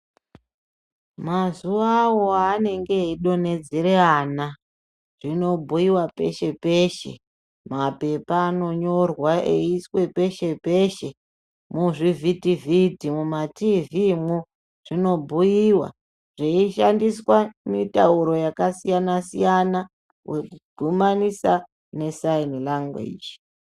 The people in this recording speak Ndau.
Mazuvawo aanenge eidonhedzere ana, zvinobhuyiwa peshe peshe. Mapepa anonyorwa eiiswe peshe peshe. Muzvivhiti vhiti mumatiivhiimwo, zvinobhuyiwa zveishandiswa mitauro yakasiyana wekudhumanisa nesaini langweji.